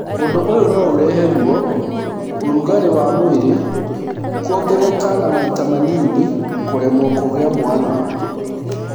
Ũndũ ũyũ no ũrehe ruo, ũrugarĩ wa mwĩrĩ kũongerereka na maita manini kũremwo kũgĩa mwana.